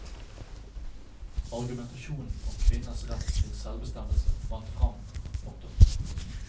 Argumentasjonen om kvinners rett til selvbestemmelse vant fram. punktum